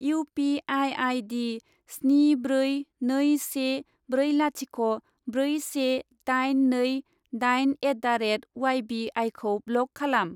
U P I I D स्नि ब्रै नै से ब्रै लाथिख' ब्रै से दाइन नै दाइन एट दा रेट उवाइ बि आइखौ ब्लक खालाम।